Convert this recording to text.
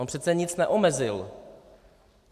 On přece nic neomezil.